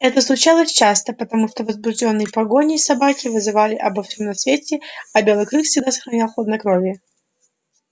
это случалось часто потому что возбуждённые погоней собаки вызывали обо всём на свете а белый клык всегда сохранял хладнокровие